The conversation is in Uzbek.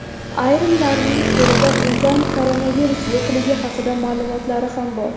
Ayrimlarining qo‘lida unda koronavirus yo‘qligi haqida ma’lumotlari ham bor.